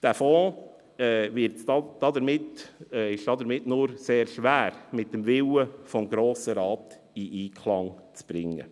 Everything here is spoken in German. Dieser Fonds ist demnach nur sehr schwer mit dem Willen des Grossen Rates in Einklang zu bringen.